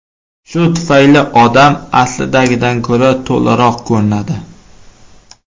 Shu tufayli odam aslidagidan ko‘ra to‘laroq ko‘rinadi.